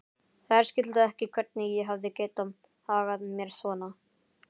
Þær skildu ekki hvernig ég hafði getað hagað mér svona.